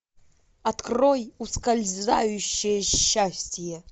открой ускользающее счастье